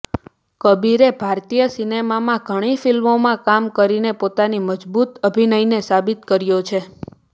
કબીરે ભારતીય સિનેમામાં ઘણી ફિલ્મોમાં કામ કરીને પોતાની મજબૂત અભિનયને સાબિત કર્યો છે